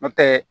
N'o tɛ